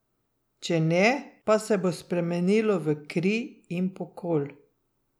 Če ne, pa se bo spremenilo v kri in pokol.